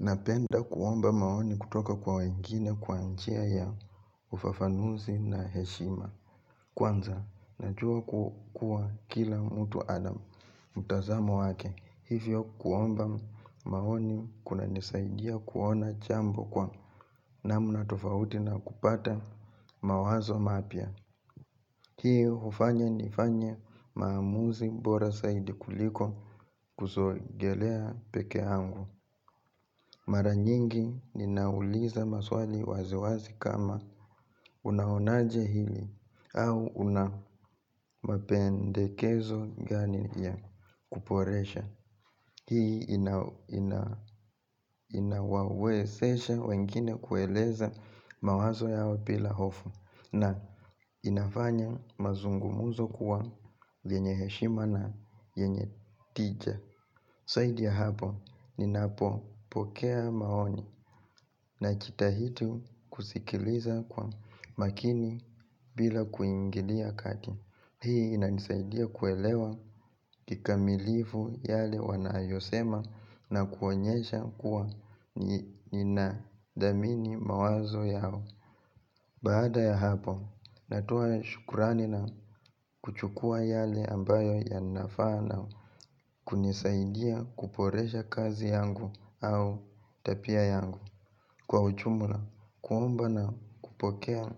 Napenda kuomba maoni kutoka kwa wengine kwa njia ya ufafanuzi na heshima. Kwanza, najua kukua kila mtu anam. Mutazamo wake, hivyo kuomba maoni kuna nisaidia kuona jambo kwa namna tofauti na kupata mawazo mapya. Hiyo hufanya ni fanye maamuzi bora saidi kuliko kuzogelea peke yangu. Mara nyingi ninauliza maswali wazi wazi kama unaonaje hili au unamapendekezo gani ya kuboresha. Hii inawawezesha wengine kueleza mawazo yao bila hofu na inafanya mazungumuzo kuwa vyenye heshima na yenye tija. Zaidi ya hapo, ninapo pokea maoni na jita hidi kusikiliza kwa makini bila kuingilia kati. Hii inanisaidia kuelewa kikamilifu yale wanayosema na kuonyesha kuwa ninadhamini mawazo yao. Baada ya hapo natoa shukrani na kuchukua yale ambayo yanafaa na kunisaidia kuboresha kazi yangu au tabia yangu. Kwa ujumula, kuomba na kupokea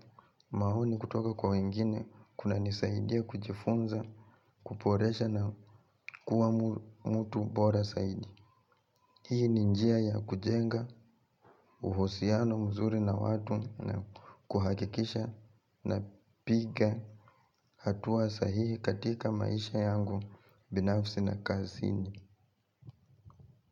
mahoni kutoka kwa wengine, kuna nisaidia kujifunza, kuporesha na kuwa mutu bora saidi. Hii ni njia ya kujenga uhusiano mzuri na watu na kuhakikisha na piga hatuwa sahihi katika maisha yangu binafsi na kaazini.